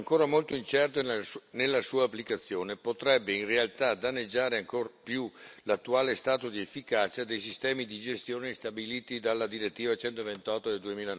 Ancora molto incerto nella sua applicazione, potrebbe in realtà danneggiare ancor più l'attuale stato di efficacia dei sistemi di gestione stabiliti dalla direttiva 128 del